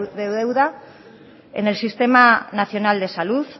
de deuda en el sistema nacional de salud